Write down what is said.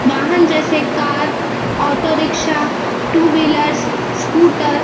वहांन जैसे car auto rickshaw two wheelers scooter --